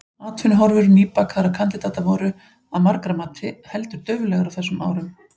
Atvinnuhorfur nýbakaðra kandidata voru, að margra mati, heldur dauflegar á þessum árum.